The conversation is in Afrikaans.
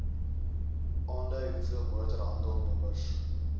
aandui hoeveel motorhandelnommers